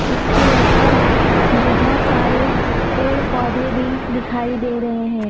इसके ऊपर बहुत सारे पेड़ पौधे भी दिखाई दे रहे हैं।